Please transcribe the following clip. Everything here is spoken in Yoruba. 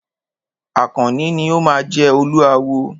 Àkànní ni o máa jẹ Olúawo.